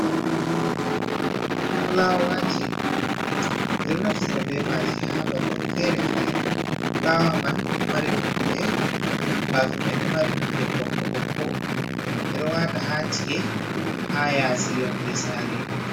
Fulawaji, ɓeɗo naftira be maji ha babel fere-fere, fulawa man ɗo mari nonde bafe man ɗo mari nonde ɓokko ɓokko ɓeɗo wata ha ci’e ha yasiyonde sare.